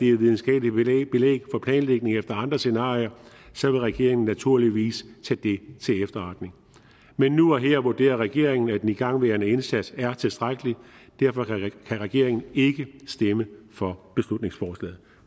er videnskabeligt belæg for planlægning efter andre scenarier så vil regeringen naturligvis tage det til efterretning men nu og her vurderer regeringen at den igangværende indsats er tilstrækkelig derfor kan regeringen ikke stemme for beslutningsforslaget